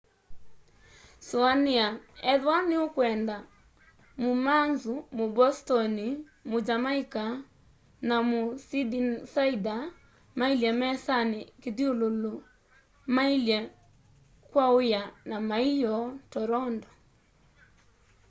sũanĩa ethĩwa nĩũkwenda mũ mancu mũ bostoni mũ jamaica na mũ sydneysider mailye mesanĩ kĩthyũlũlũ maiya ky'aũya kya ma'ĩyoo toronto